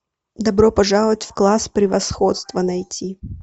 добро пожаловать в класс превосходства найти